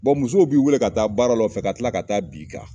Bon musow b'i wele ka taa baara la ka kila ka taa b'i kan